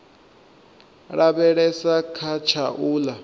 lavhelesa kha tsha u ḽa